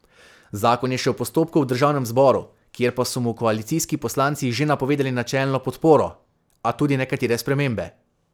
Zakon je še v postopku v državnem zboru, kjer pa so mu koalicijski poslanci že napovedali načelno podporo, a tudi nekatere spremembe.